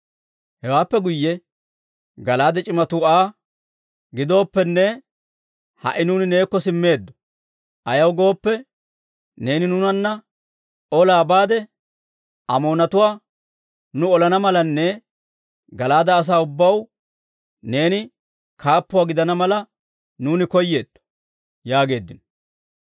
Hewaappe guyye Gala'aade c'imatuu Aa, «Gidooppenne, ha"i nuuni neekko simmeeddo; ayaw gooppe, neeni nuunanna olaa baade, Amoonatuwaa nuu olana malanne Gala'aade asaa ubbaw neeni kaappuwaa gidana mala, nuuni koyeetto» yaageeddino.